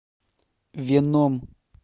веном